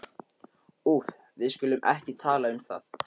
Úff, við skulum ekki tala um það.